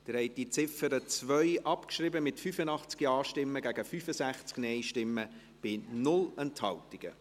Sie haben die Ziffer 2 abgeschrieben, mit 85 Ja- gegen 65 Nein-Stimmen bei 0 Enthaltungen.